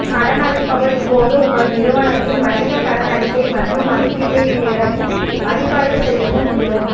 கடனளிப்பவர் இப்போது உங்கள் நிறுவனத்தின் வணிக கடன் அறிக்கை மற்றும் மதிப்பீட்டைப் பெறவும் மதிப்பாய்வு செய்யவும் முடியும்